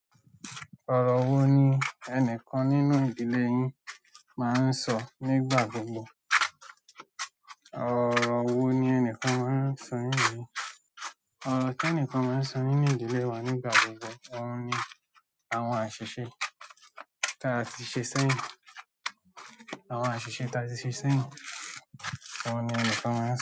Ọ̀rọ̀ wo ni ẹnìkan nínú ìdílé yín máa ń sọ nígbà gbogbo? Ọ̀rọ̀ wo ni ẹnìkan máa ń sọ yín ni? Ọ̀rọ̀ tí ẹnìkan máa ń sọ nínú ìdílé wa nígbà gbogbo òun ni àwọn àṣìṣe tí a ti ṣe sẹ́yìn. Àwọn àṣìṣe tí a ti ṣe sẹ́yìn. Ọ̀un ni ẹnìkan máa ń sọ.